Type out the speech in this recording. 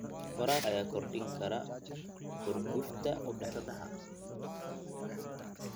Waraabka ayaa kordhin kara xurgufta u dhaxaysa beelaha.